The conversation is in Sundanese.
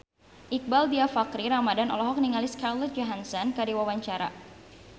Iqbaal Dhiafakhri Ramadhan olohok ningali Scarlett Johansson keur diwawancara